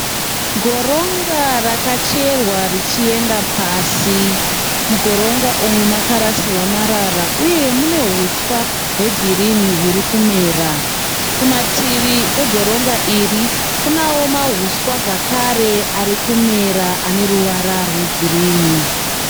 Goronga rakacherwa richienda pasi. Mugoronga umu makarasirwa marara uye mune huswa hwegirinhi huri kumera. Kumativi egoronga iri kunewo mahuswa zvakare ari kumera ane ruvara rwegirinhi.